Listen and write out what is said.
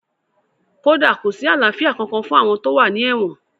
Kódà kò sí àlàáfíà kankan fún àwọn tó wà ní èwọ̀n